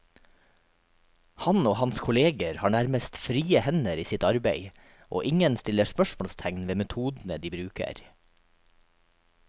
Han og hans kolleger har nærmest frie hender i sitt arbeid, og ingen stiller spørsmålstegn ved metodene de bruker.